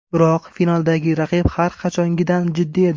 Biroq, finaldagi raqib har qachongidan jiddiy edi.